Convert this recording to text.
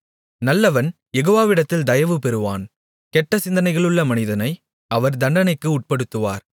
நல்லவன் யெகோவாவிடத்தில் தயவு பெறுவான் கெட்டசிந்தனைகளுள்ள மனிதனை அவர் தண்டனைக்கு உட்படுத்துவார்